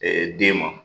den ma